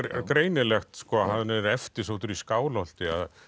greinilegt að hann er eftirsóttur í Skálholti